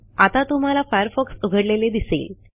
आता तुम्हाला फायरफॉक्स उघडलेले दिसेल